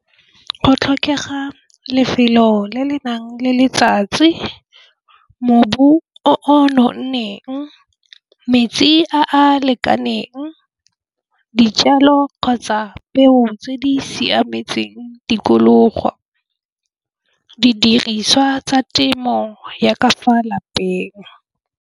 Go tlhokega lefelo le le nang le letsatsi mobu o nonneng metsi a a lekaneng dijalo kgotsa peo tse di siametseng tikologo didiriswa tsa temo ya ka fa lapeng.